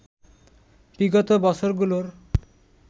বিগত বছরগুলোর